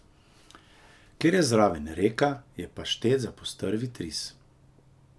Ker je zraven reka, je paštet za postrvji tris.